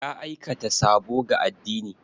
Ya aikata sabo ga addini.